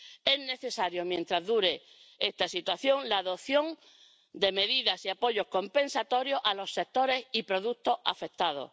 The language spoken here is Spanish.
Es necesaria, mientras dure esta situación, la adopción de medidas y apoyos compensatorios para los sectores y productos afectados.